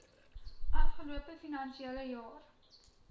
afgelope finansiële jaar